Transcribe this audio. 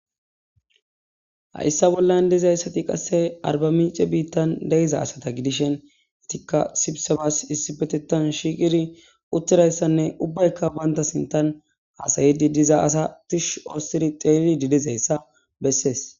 ha issa bollan dizayssati qasse arba miice biittan deiza asata gidishen itikka sibisabas issi betetan shiiqiri uttirayssanne ubbaykka baynta sintan haasayidi diza asatish ostiri xeeli didizayssa bessees